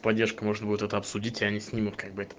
поддержка можно будет обсудить и они снимают